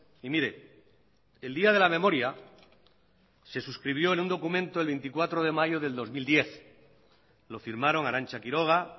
y mire el día de la memoria se suscribió en un documento el veinticuatro de mayo del dos mil diez lo firmaron arantza quiroga